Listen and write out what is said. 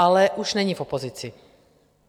Ale už není v opozici.